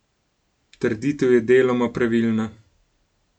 Trditev je deloma pravilna.